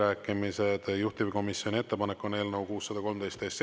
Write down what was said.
Esimene lugemine on lõpetatud ja muudatusettepanekute esitamise tähtaeg on käesoleva aasta 7. mai kell 17.15.